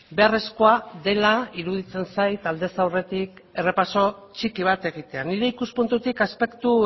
beharrezkoa dela iruditzen zait aldez aurretik errepaso txiki bat egitea nire ikuspuntutik aspektu